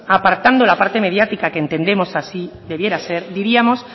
apartando la parte mediática que entendemos así debiera ser diríamos